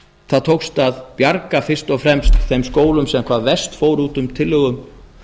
það tókst að bjarga fyrst og fremst þeim skólum sem hvað gerst fóru út úr tillögum